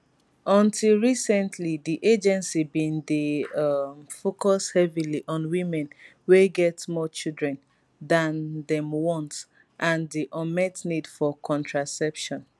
until recently di agency bin dey um focus heavily on women wey get more children than dem want and di unmet need for contraception